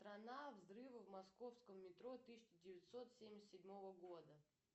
страна взрывы в московском метро тысяча девятьсот семьдесят седьмого года